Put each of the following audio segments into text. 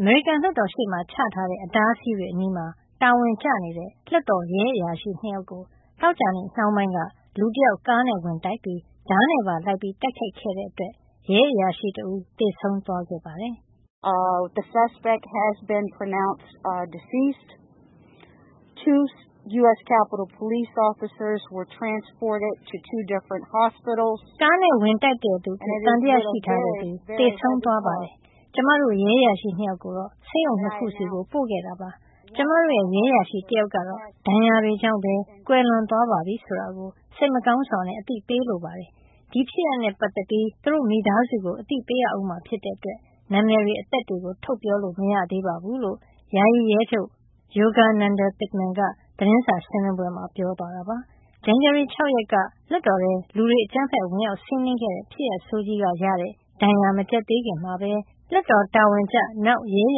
အမေရိကန်လွှတ်တော်ရှေ့မှာချထားတဲ့ အတားအဆီးတွေအနီးမှာ တာဝန်ကျနေတဲ့ လွှတ်တော်ရဲ အရာရှိ ၂ ယောက်ဆီကို သောကြာနေ့နှောင်းပိုင်းက လူတယောက် ကားနဲ့ဝင်တိုက်ပြီး ဓားနဲ့ပါလိုက်ပြီးတိုက်ခိုက်ခဲ့တဲ့အတွက် ရဲအရာရှိတဦး သေဆုံးသွားပါတယ်။ “ကားနဲ့ဝင်တိုက်တဲ့သူအဖြစ် သံသယရှိထားတဲ့သူ သေဆုံးသွားပါတယ်။ ကျမတို့ရဲအရာရှိ ၂ ယောက်ကို ဆေးရုံ ၂ ခုဆီ ပို့ခဲ့တာပါ။ ကျမတို့ရဲ့ ရဲအရာရှိ တယောက်ကတော့ ဒဏ်ရာတွေကြောင့်ပဲ ကွယ်လွန်သွားပါပြီဆိုတာ စိတ်မကောင်းစွားအသိပေးလိုပါတယ်။ ဒီဖြစ်ရပ်နဲ့ပတ်သက်ပြီး သူတို့မိသားစုကိုအသိပေးရဦးမှာ ဖြစ်တဲ့အတွက် နာမည်၊ အသက် တွေကို ထုတ်ပြောလို့မရသေးပါဘူး” လို့ ယာယီရဲချုပ် Yogananda Pittman ကသတင်းစာရှင်းလင်းပွဲမှာပြောဆိုသွားတာပါ။ ဇန်နဝါရီလ ၆ ရက်နေ့က လွှတ်တော်ထဲ လူတွေအကြမ်းဖက် ဝင်ရောက်စီးနင်းခဲ့တဲ့ ဖြစ်ရပ်ဆိုးကြီးကရတဲ့ ဒဏ်ရာမကျက်သေးခင်မှာ တာဝန်ကျလွှတ်တော် ရဲအ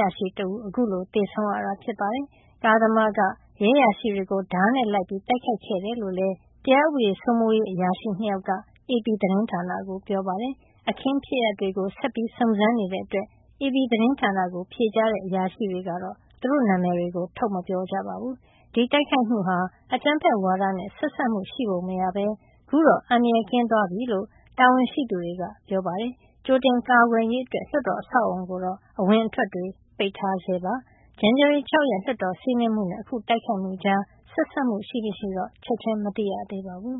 ရာရှိနောက်ထပ် တဦးခုလို သေဆုံးရတာဖြစ်ပါတယ်။ ကားသမားက ရဲအရာရှိတွေကို ဓားနဲ့ လိုက်ပြီး တိုက်ခိုက်ခဲ့တယ်လို့လည်း တရားဥပဒေ စိုးမိုးရေးအရာရှိ ၂ ယောက်က AP သတင်းဌာနကိုပြောပါတယ်။ အခင်းဖြစ်ရပ်တွေကို ဆက်ပြီးစုံစမ်းနေတာကြောင့် AP သတင်းဌာနကို ဖြေကြားတဲ့အရာရှိတွေက သူတို့နာမည်ကိုတော့ ထုတ်မပြောကြပါဘူး။ ဒီတိုက်ခိုက်မှုဟာ အကြမ်းဖက်ဝါဒနဲ့ဆက်စပ်မှုရှိပုံမရပဲ ခုတော့ အန္တရာယ်ကင်းသွားပါပြီလို့ တာဝန်ရှိသူတွေက ပြောပါတယ်။ ကြိုတင်ကာကွယ်ရေးအတွက် လွှတ်တော်အဆောက်အအုံကိုတော့ အဝင်အထွက် ပိတ်ထားပါသေးတယ်။ ဇန်နဝါရီလ ၆ ရက်နေ့ လွှတ်တော်စီးနင်းမှုနဲ့ ခုတိုက်ခိုက်မှုကြား ဆက်စပ်မှုရှိမရှိဆိုတာကိုတော့ ချက်ချင်းမသိရသေးပါဘူး